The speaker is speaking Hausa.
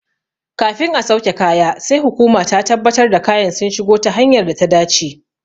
Kafin a sauke kaya sai hukuma ta tabbatar da kayan sun shigo ta hanyar data dace.